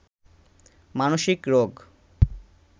মানসিক রোগ